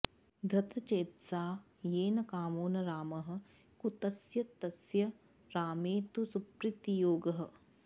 धृतश्चेतसा येन कामो न रामः कुतस्तस्य रामे तु सुप्रीतियोगः